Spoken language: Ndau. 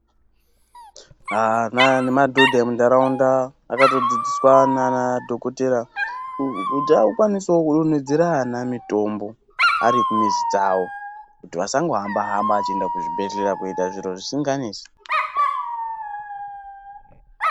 Ana nemadhodha muntaraunda vakatodzidziswa nana dhokodhera kuti akwanisewo kudonhedzera ana mitombo ari kumizi dzawo kuti asangohamba-hamba achienda kuzvibhehleya koita zviro zvisinganesi.